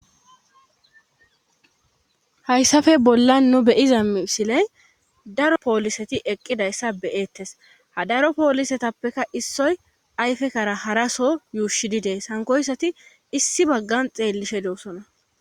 hayssafe bollan nu be:iza misiley daro pooliseti eqqidayssa be'ettes ha daro poolisetappeka issoy ayfekkara haraso yuushi dees sankoyssati issi baggan xeellishe doossona